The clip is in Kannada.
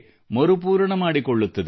ಮರುಪೂರಣ ಮಾಡಿಕೊಳ್ಳುತ್ತದೆ